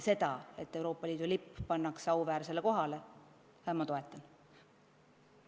Seda, et Euroopa Liidu lipp pannakse auväärsele kohale, ma toetan.